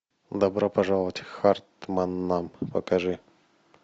добро пожаловать к хартманнам покажи